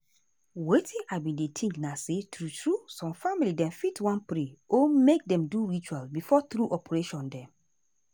wetin i bin dey think na say true true some family dem fit wan pray or make dem do ritual before true operation dem.